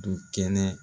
Du kɛnɛ